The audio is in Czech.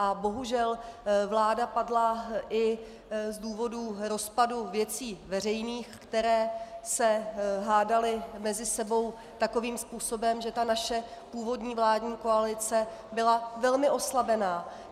A bohužel vláda padla i z důvodů rozpadu Věcí veřejných, které se hádaly mezi sebou takovým způsobem, že ta naše původní vládní koalice byla velmi oslabena.